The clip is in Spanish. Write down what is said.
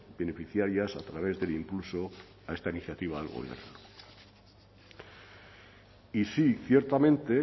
beneficiarias a través del impulso a esta iniciativa del gobierno y sí ciertamente